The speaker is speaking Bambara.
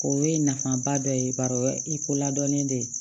O ye nafaba dɔ ye bari o ye i ko ladɔnnen de